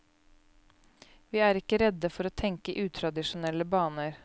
Vi er ikke redde for å tenke i utradisjonelle baner.